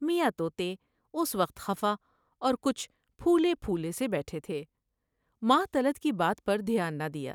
میاں تو تے اس وقت خفا اور کچھ پھولے پھولے سے بیٹھے تھے ، ماہ طلعت کی بات پر دھیان نہ دیا ۔